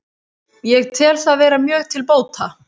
Ég tel það vera mjög til bóta